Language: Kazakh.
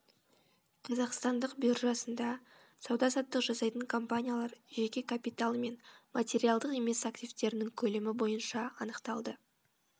қазақстандық биржасында сауда саттық жасайтын компаниялар жеке капиталы мен материалдық емес активтерінің көлемі бойынша анықталды